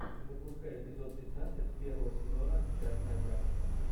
запускай эпизод пятнадцать первого сезона частная практика